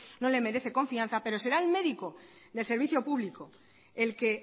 no les merece confianza pero será el médico del servicio público el que